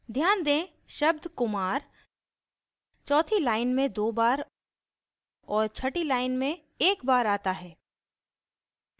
ध्यान दें शब्द kumar चौथी line में दो बार और छठी line में एक बार आता है